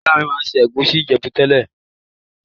Ìyá mi ma n se ègusi Ìjẹ̀bú tẹ́lẹ̀.